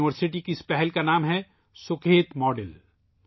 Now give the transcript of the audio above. university کے اس اقدام کا نام ہے '' سکھیت ماڈل ''